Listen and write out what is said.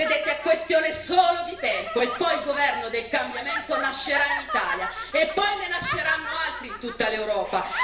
Vedete, è questione solo di tempo, e poi il governo del cambiamento nascerà in Italia, e poi ne nasceranno altri in tutta l'Europa.